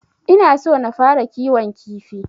Ina so na fara kiwon kifi.